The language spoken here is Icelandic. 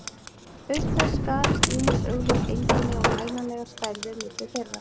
Auk þess skarast ýmis augljós einkenni og mælanlegar stærðir milli þeirra.